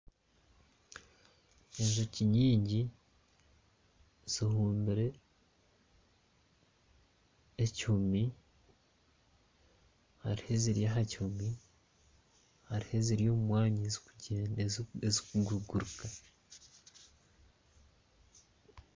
Enjoki nyingi zirumbire ekihumi hariho eziri aha kimuri hariho eziri omu mwanya ezirikuguruka